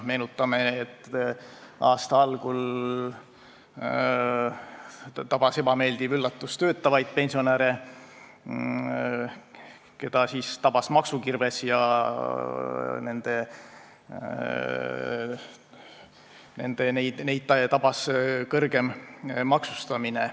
Meenutame, et aasta algul tuli ebameeldiv üllatus töötavatele pensionäridele, keda siis tabas maksukirves ja kõrgem maksustamine.